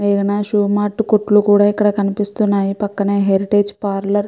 మేఘన shoe mart కోట్లు కూడా ఇక్కడ కనిపిస్తున్నాయి పక్కనే హెరితగె పర్లౌర్ --